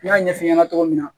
N y'a ɲɛf'i ɲɛna cogo min na